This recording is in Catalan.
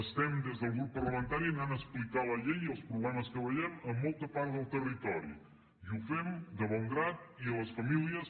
estem des del grup parlamentari anant a explicar la llei i els problemes que veiem a molta part del territori i ho fem de bon grat i les famílies